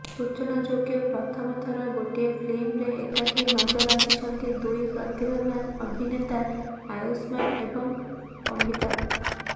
ସୂଚନାଯୋଗ୍ୟ ପ୍ରଥମଥର ଗୋଟିଏ ଫିଲ୍ମରେ ଏକାଠି ନଜର ଆସିଛନ୍ତି ଦୁଇ ପ୍ରତିଭାବାନ୍ ଅଭିନେତା ଆୟୁଷ୍ମାନ୍ ଏବଂ ଅଭିତାଭ୍